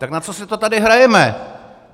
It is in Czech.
Tak na co si to tady hrajeme?